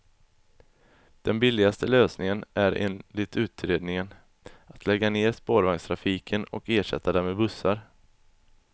Den billigaste lösningen är, enligt utredningen, att lägga ned spårvagnstrafiken och ersätta den med bussar.